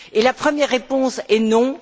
La première réponse est non.